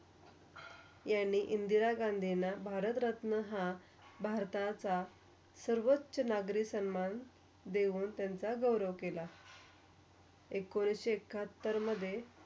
यांनी इंदिरा गांधींना भारतरत्न हा, भारताचा सर्वोच्च नागरी सन्मान देवून त्यांचा गौरव केला. एकोणीशी एकाहत्तरमधे.